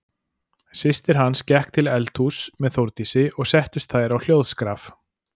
Systir hans gekk til eldhúss með Þórdísi og settust þær á hljóðskraf.